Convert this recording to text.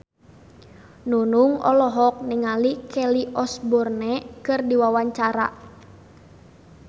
Nunung olohok ningali Kelly Osbourne keur diwawancara